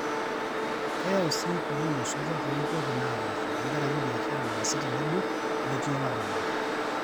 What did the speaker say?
keyau sii ukulima osotua too nkuapi napaasha tenkaraki biashara naasi tenebo meeti olarabal